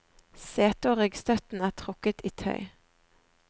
Setet og ryggstøtten er trukket i tøy.